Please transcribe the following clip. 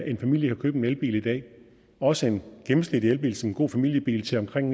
en familie kan købe en elbil i dag også en gennemsnitlig elbil som en god familiebil til omkring